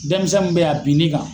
Dɛnmisɛn mun be yen a bin n'i kan